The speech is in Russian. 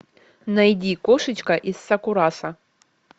найди кошечка из сакурасо